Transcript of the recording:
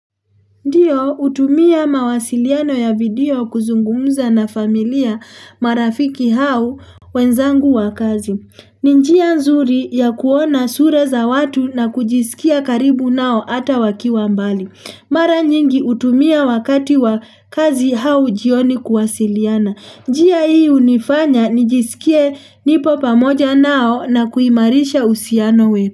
Ndiyo, utumia mawasiliano ya video kuzungumza na familia, marafiki au wenzangu wa kazi. Ni njia nzuri ya kuona sura za watu na kujisikia karibu nao ata wakiwa mbali. Mara nyingi utumia wakati wa kazi au jioni kuwasiliana. Njia hii unifanya nijisikie nipo pamoja nao na kuimarisha uhusiano wetu.